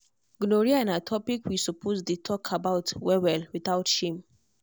gonorrhea na topic we suppose dey talk about well well without shame.